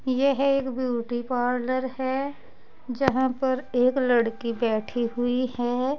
यह एक beauty parlour है जहां पर एक लड़की बैठी हुई है।